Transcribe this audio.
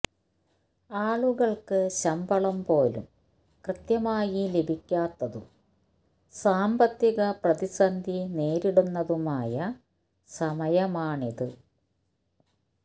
ആളുകള്ക്ക് ശമ്പളം പോലും കൃത്യമായി ലഭിക്കാത്തതും സാമ്പത്തിക പ്രതിസന്ധി നേരിടുന്നതുമായ സമയമാണിത്